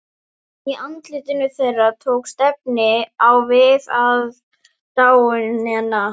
Í andlitum þeirra tókst efinn á við aðdáunina.